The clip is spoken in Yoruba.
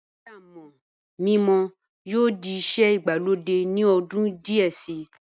iṣẹ́ amọ̀ mímọ yóò di iṣẹ́ ìgbàlódé ní ọdún díẹ̀ si